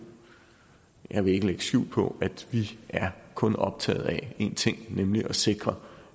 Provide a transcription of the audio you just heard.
jeg vil ikke lægge skjul på at vi kun er optaget af én ting nemlig at sikre